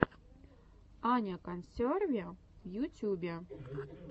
аня консерви в ютюбе